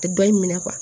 A tɛ bɔ i minɛ